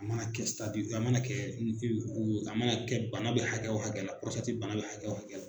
A mana kɛ a mana kɛ a mana kɛ bana bɛ hakɛ o hakɛ la bana bɛ hakɛ o hakɛ la